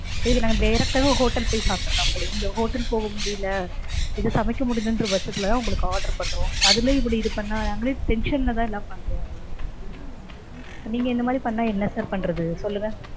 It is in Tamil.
இதுக்கு நாங்க direct டாவே hotel போய் சாப்ட்ரலாம் போல. இங்க hotel போக முடியல, இது சமைக்க முடியலங்கற பட்சத்திலதா உங்களுக்கு order பண்றோம். அதுலயும் இப்படி இது பண்ணா, நாங்களே tension லதா எல்லாம் பண்றோம். நீங்க இந்த மாதிரி பண்ணா என்ன sir பண்றது சொல்லுங்க.